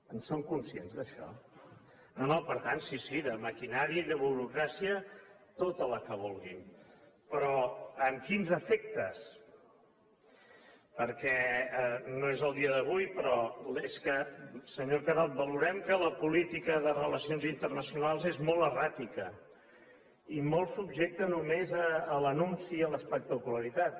en són conscients d’això no no per tant sí sí de maquinària i de burocràcia tota la que vulguin però amb quins efectes perquè no és el dia d’avui però és que senyor carod valorem que la política de relacions internacionals és molt erràtica i molt subjecta només a l’anunci i a l’espectacularitat